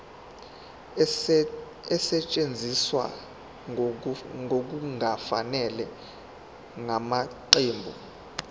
esetshenziswe ngokungafanele ngamaqembu